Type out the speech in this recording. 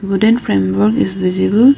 wooden frame work is visible.